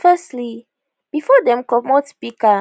firstly bifor dem comot speaker